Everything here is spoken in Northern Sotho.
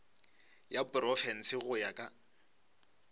ya profense go ya ka